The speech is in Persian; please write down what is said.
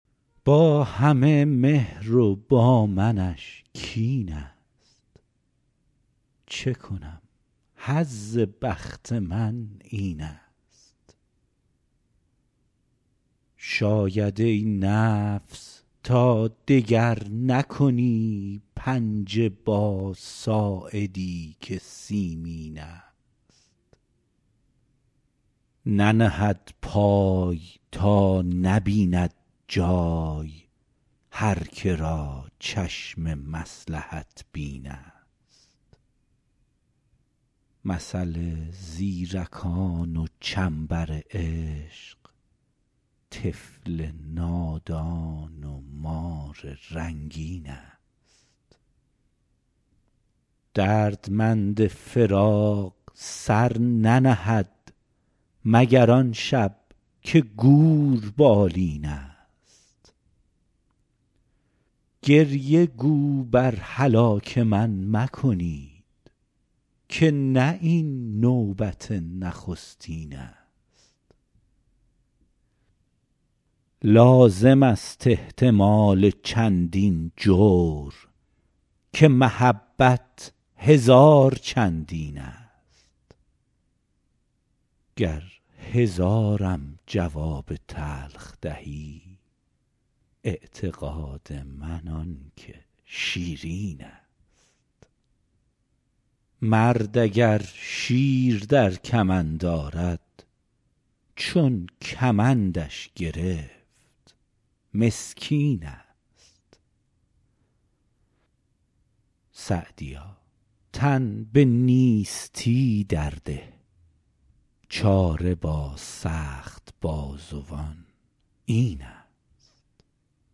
با همه مهر و با منش کین ست چه کنم حظ بخت من این ست شاید ای نفس تا دگر نکنی پنجه با ساعدی که سیمین ست ننهد پای تا نبیند جای هر که را چشم مصلحت بین ست مثل زیرکان و چنبر عشق طفل نادان و مار رنگین ست دردمند فراق سر ننهد مگر آن شب که گور بالین ست گریه گو بر هلاک من مکنید که نه این نوبت نخستین ست لازم است احتمال چندین جور که محبت هزار چندین ست گر هزارم جواب تلخ دهی اعتقاد من آن که شیرین ست مرد اگر شیر در کمند آرد چون کمندش گرفت مسکین ست سعدیا تن به نیستی در ده چاره با سخت بازوان این ست